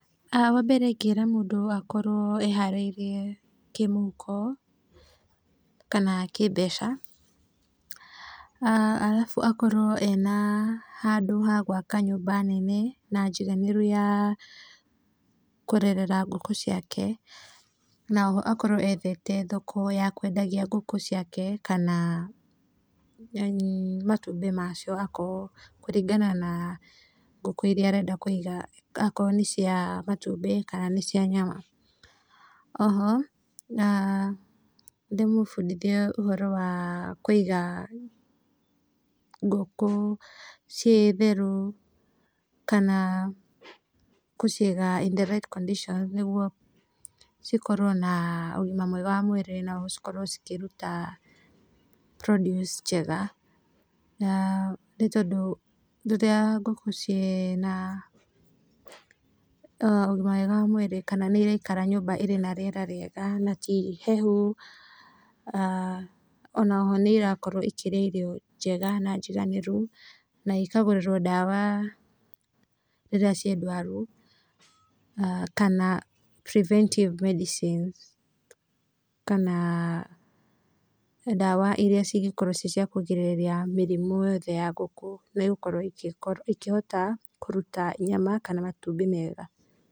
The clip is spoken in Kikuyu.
Wambere ingĩra mũndũ akorwo eharĩirie kĩmũhuko kana kĩmbeca, arabu akorwo ena handũ ha gwaka nyũmba nene na njiganĩru ya kũrerera ngũkũ ciake, ana oho akorwo ethete thoko ya kwendagia ngũkũ ciake kana yani matumbĩ macio akorwo kũringana na ngũkũ iria arenda kũiga akorwo nĩ cia matumbĩ kana nĩ cia nyama. Oho, ndĩmũbundithie ũhoro wa kũiga ngũkũ ciĩ theru kana kũciga in the right conditions nĩguo cikorwo na ũgima mwega wa mwĩrĩ na oho cikorwo cikĩruta produce njega, nĩ tondũ rĩrĩa ngũkũ ciĩna ũgima mwega wa mwĩrĩ kana nĩiraikara nyũmba ĩrĩ na rĩera rĩega na ti hehu, na oho nĩirakorwo ikĩrĩa irio njega na njiganĩru na ikagũrĩrwo ndawa rĩrĩa ciĩ ndwaru kana preventive medicines kana ndawa iria cingĩkorwo ciĩ cia kũgirĩrĩria mĩrimũ yothe ya ngũkũ nĩigũkorwo ikĩhota kũruta nyama kana matumbĩ mega.